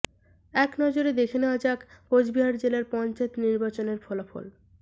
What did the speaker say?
এক নজরে দেখা নেওয়া যাক কোচবিহার জেলার পঞ্চায়েত নির্বাচনের ফলাফল